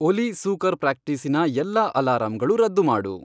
ಒಲಿ ಸೂಕರ್ ಪ್ರಾಕ್ಟೀಸಿನ ಎಲ್ಲಾ ಅಲಾರಾಂಗಳು ರದ್ದು ಮಾಡು.